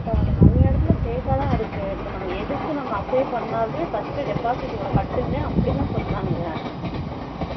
ஆமா டா நிறைய எடத்துல fake ஆ தான் இருக்கு இப்போ நம்ம எதுக்கு apply பண்ணுனாலுமே first deposit இவலோ கட்டுங்க அப்படித்தான் சொல்லுறாங்க